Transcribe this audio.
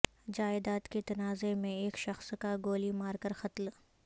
جائیداد کے تنازعہ میں ایک شخص کا گولی مار کر قتل